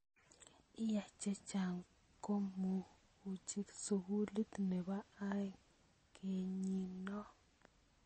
laak chechang komokuchut sukulit nebo oeng kenyiinoo